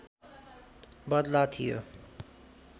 बदला थियो